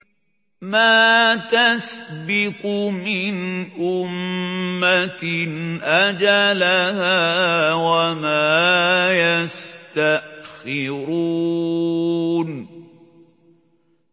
مَا تَسْبِقُ مِنْ أُمَّةٍ أَجَلَهَا وَمَا يَسْتَأْخِرُونَ